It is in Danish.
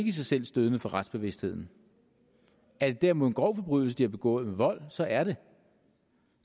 i sig selv stødende for retsbevidstheden er det derimod en grov forbrydelse de har begået med vold så er det